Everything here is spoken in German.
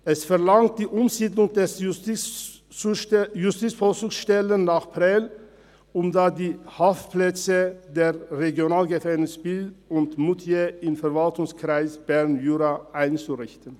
Es verlangt die Umsiedlung der Justizvollzugsstelle nach Prêles, um dort die Haftplätze der Regionalgefängnisse Biel und Moutier im Verwaltungskreis Berner Jura einzurichten.